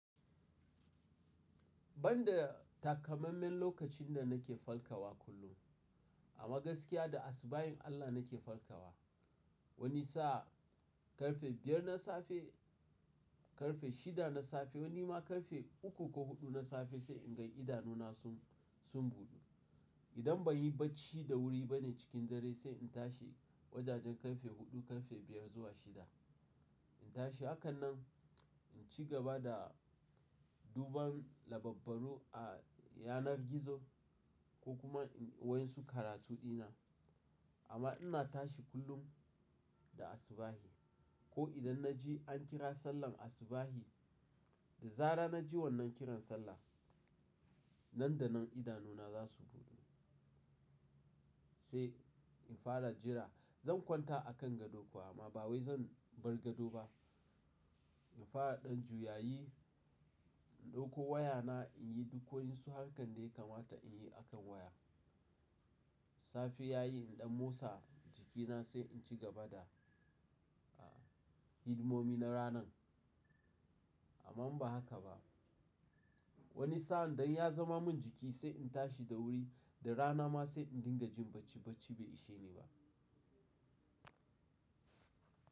Banda takammamen lokacin da nake farkawa kullum, a magaskiya da asubahin Allah nake farkawa. Wani sa'a ƙarfe biyar na safe, ƙarfe shida na safe, wani ma ƙarfe uku ko huɗu na safe sai in ga idanuna sun, sun buɗu. Idan ban yi bacci da wuri bane cikin dare sai in tashi wajajen ƙarfe huɗu, ƙarfe biyar zuwa shida. In tashi, haka nan in ci gaba da duban labarbaru a yanar gizo ko kuma inyi wasu karatu dina. Amma ina tashi kullum da asubahi. Ko idan na je an kira sallah asubahe, da zarar na ji wannan kiran sallah. Nan da nan idanuna za su buɗe. Sai in fara jira. Zan kwanta a kan gado kuwa amma ba wai zan bar gado ba. In fara ɗan juyayi, in ɗauko wayana in yi duk wa yansu harkan daya kamata in yi a kan waya. Safe ya yi in ɗan motsa jikina sai in ci gaba da, a, hidimomi na ranan. Amma in ba haka ba. Wani sa'a don ya zama min jiki sai in tashi da wuri, da rana ma sai in dinga jin bacci bacci bai ishe ni ba.